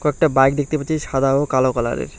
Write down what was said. একটা বাইক দেখতে পাচ্ছি সাদা ও কালো কালারের।